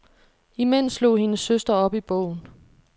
Imens slog hendes søster op i bogen.